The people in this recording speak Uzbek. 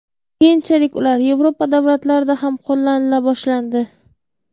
Keyinchalik ular Yevropa davlatlarida ham qo‘llanila boshlandi.